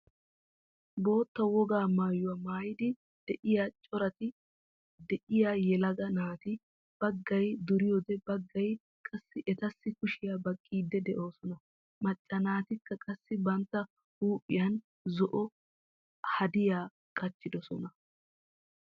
Bootta wogaa maayuwaa maayidi de'iyaa coratti de'iyaa yelaga naati baggay duriyoode baggay qassi etassi kushiyaa baqqiidi de'oosona. Macca naatikka qassi bantta huuphphiyaan zo"o haadiyaa qaciddosona.